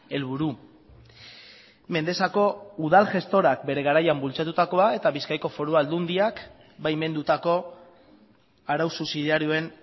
helburu mendexako udal gestorak bere garaian bultzatutakoa eta bizkaiko foru aldundiak baimendutako arau subsidiarioen